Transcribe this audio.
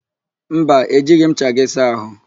Mba, ejighị m ncha gị saa àhụ́.